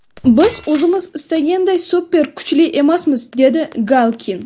Biz o‘zimiz istaganday super kuchli emasmiz”, dedi Galkin.